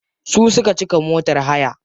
Su suka cika motar hayar.